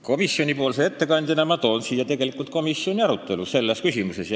Komisjoni ettekandjana ma toon siia komisjoni arutelu selles küsimuses.